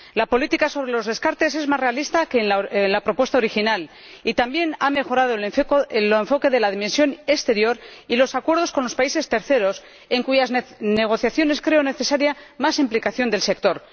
La política sobre los descartes es más realista que en la propuesta original y también ha mejorado el enfoque de la dimensión exterior y los acuerdos con los países terceros, en cuyas negociaciones creo necesaria más implicación del sector.